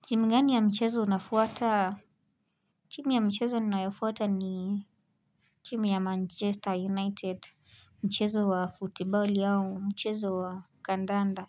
Timu gani ya mchezo unafuataa? Timu ya mchezo ninafuata ni timu ya Manchester United, mchezo wa football au, mchezo wa kandanda.